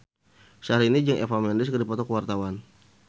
Syahrini jeung Eva Mendes keur dipoto ku wartawan